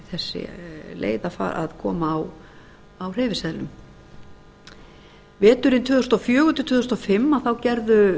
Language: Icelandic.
þessi leið að koma á hreyfiseðlum veturinn tvö þúsund og fjögur til tvö þúsund og fimm gerðu